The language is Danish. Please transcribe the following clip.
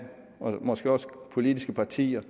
og måske også som politiske partier